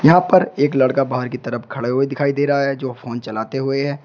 यहां पर एक लड़का बाहर की तरफ खड़े हुए दिखाई दे रहा है जो फोन चलाते हुए है।